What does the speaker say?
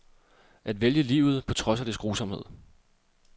At vælge livet på trods af dets grusomhed.